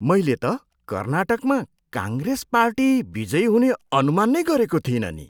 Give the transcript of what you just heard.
मैले त कर्नाटकमा काङ्ग्रेस पार्टी विजयी हुने अनुमान नै गरेको थिइनँ नि।